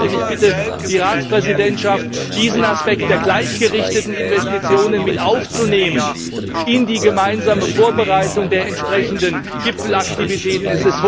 Ich bitte die Ratspräsidentschaft, diesen Aspekt der gleichgerichteten Investitionen mit aufzunehmen in die gemeinsame Vorbereitung der entsprechenden Gipfelaktivitäten.